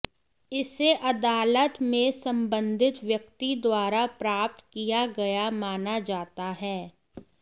इसे अदालत में संबंधित व्यक्ति द्वारा प्राप्त किया गया माना जाता है